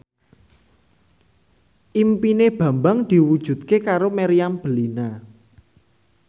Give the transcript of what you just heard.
impine Bambang diwujudke karo Meriam Bellina